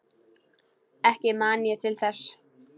Ekki man ég til þess.